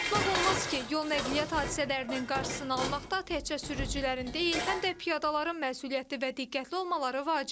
Unutmaq olmaz ki, yol nəqliyyat hadisələrinin qarşısını almaqda təkcə sürücülərin deyil, həm də piyadaların məsuliyyətli və diqqətli olmaları vacibdir.